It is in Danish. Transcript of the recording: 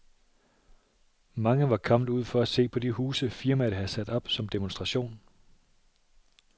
Mange var kommet ud for at se på de huse, firmaet havde sat op som demonstration.